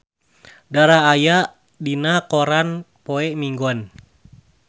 Dara aya dina koran poe Minggon